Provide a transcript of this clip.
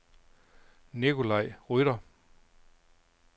Nicolai Rytter